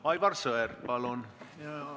Aivar Sõerd, palun!